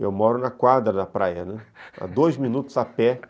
Eu moro na quadra da praia, né, a dois minutos a pé.